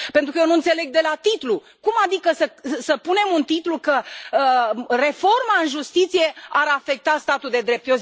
Pentru că eu nu înțeleg de la titlu, cum adică să punem un titlu că reforma în justiție ar afecta statul de drept?